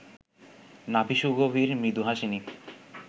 নাভি সুগভীর মৃদুহাসিনী